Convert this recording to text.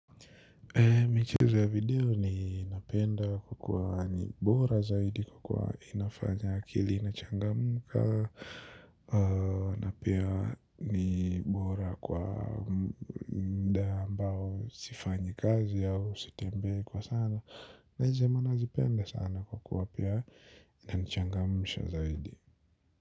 Michizo ya video ninapenda kwa kuwa ni bora zaidi kwa inafanya akili inachangamka na pia ni bora kwa mda ambao sifanyi kazi au sitembe kwa sana. Na izema nazipenda sana kwa kwa kwa pia inachangamsha zaidi.